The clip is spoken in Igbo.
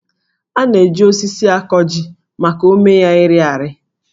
A na-eji osisi akọ jí maka ómé ya ịrị arị